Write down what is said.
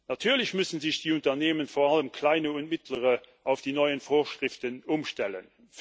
Natürlich müssen sich die Unternehmen vor allem kleine und mittlere auf die neuen Vorschriften umstellen.